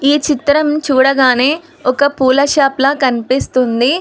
ఈ చిత్రం చూడగానే ఒక పూల షాప్ లా కనిపిస్తుంది.